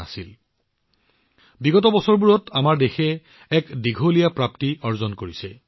এইটো দেখি কোনে সুখী নহব শেহতীয়া বছৰবোৰত আমাৰ দেশে সফলতাৰ এক দীঘলীয়া পৰিক্ৰমা হাতত লৈছে